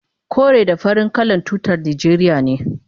kore da fari kalan tutar najeriya ne